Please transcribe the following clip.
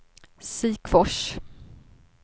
Sikfors